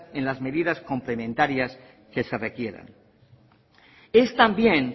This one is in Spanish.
en las medidas complementarias que se requieran es también